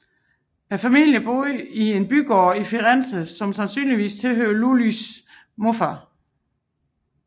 Familien boede i en bygård i Firenze som sandsynligvis tilhørte Lullys morfader